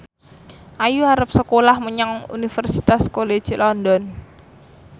Ayu arep sekolah menyang Universitas College London